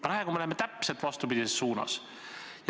Praegu me läheme täpselt vastupidises suunas.